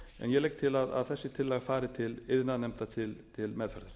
ég legg til að þessi tillaga fari til iðnaðarnefndar til meðferðar